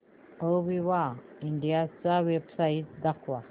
Aviva India ची website दाखवा